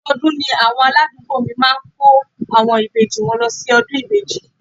Ọdọọdún ni àwọn aládùúgbò mi máa ń kó àwọn ìbejì wọn lọ síbi ọdún ìbejì